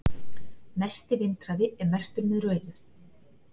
mesti vindhraði er merktur með rauðu